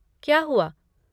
क्या हुआ?